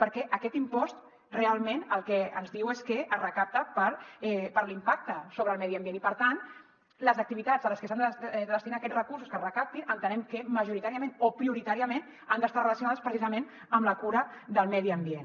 perquè aquest impost realment el que ens diu és que es recapta per l’impacte sobre el medi ambient i per tant les activitats a les que s’han de destinar aquests recursos que es recaptin entenem que majoritàriament o prioritàriament han d’estar relacionades precisament amb la cura del medi ambient